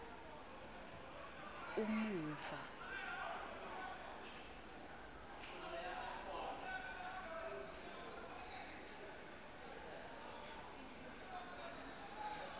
umuva